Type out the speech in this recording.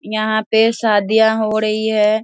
यहाँ पे शादियां हो रही है।